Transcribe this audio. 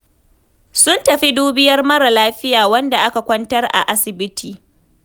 Sun tafi dubiyar mara lafiya wanda aka kwantar a asibiti.